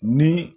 Ni